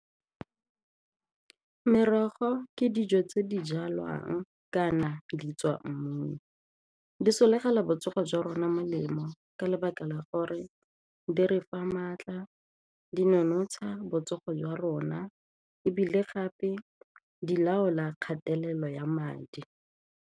Merogo ke dijo tse di jalwang kana di tswa mmung, di sologela botsogo jwa rona melemo ka lebaka la gore di re fa maatla, di nonotsha botsogo jwa rona ebile gape di laola kgatelelo ya madi.